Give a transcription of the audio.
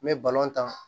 N bɛ ta